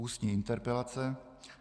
Ústní interpelace